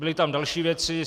Byly tam další věci.